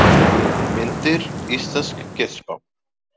Myndir: Íslensk getspá.